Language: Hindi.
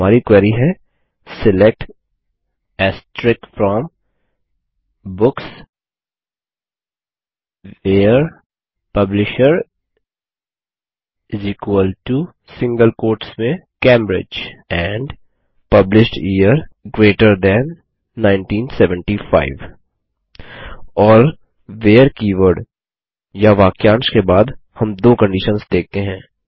और हमारी क्वेरी है select from books where publisher Cambridge and publish year GT 1975 और व्हेरे कीवर्ड या वाक्यांश के बाद हम दो कंडिशन्स देखते हैं